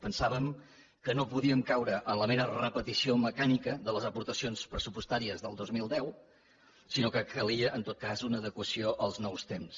pensàvem que no podíem caure en la mera repetició mecànica de les aportacions pressupostàries del dos mil deu sinó que calia en tot cas una adequació als nous temps